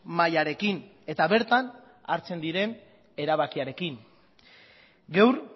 mahaiarekin eta bertan hartzen diren erabakiarekin gaur